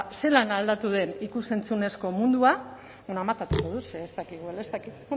zelan aldatu den ikus entzunezko mundua bueno amatatuko dut ze ez dakit